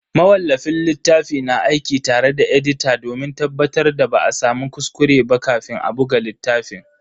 Mawallafin littafi na aiki tare da edita domin tabbatar da ba a samu kuskure ba kafin a buga littafin.